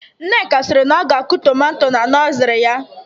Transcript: Nneka siri na ọ ga akụ tomato na nọzery ya